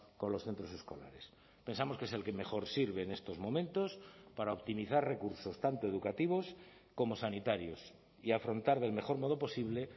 con los centros escolares pensamos que es el que mejor sirve en estos momentos para optimizar recursos tanto educativos como sanitarios y afrontar del mejor modo posible